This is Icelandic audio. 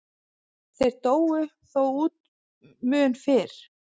Þeir dóu þó út mun fyrr.